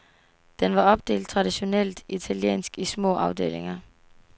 Den var opdelt traditionelt italiensk i små afdelinger.